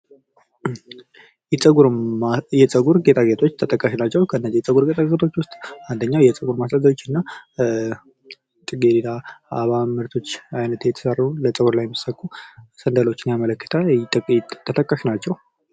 የጸጉር ጌጣጌጦች ተጠቃሽ ናቸው። ከነዚህ የጸጉር ጌጣጌጦች ውስጥ የጸጉር ሜስያዣዎችና ጽጌረዳ አበባ ምርቶች አይነት የተሰሩ በጸጉር ላይ የሚሰኩ ሰንደሎችን ያመለክታል ከጠቀስናቸው